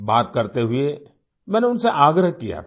बात करते हुए मैंने उनसे आग्रह किया था